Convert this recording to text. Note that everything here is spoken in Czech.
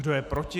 Kdo je proti?